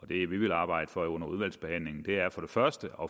det vi vil arbejde for under udvalgsbehandlingen først og